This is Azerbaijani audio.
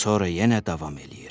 Sonra yenə davam eləyir.